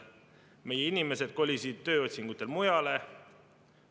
Meie inimesed kolisid tööotsingutel mujale.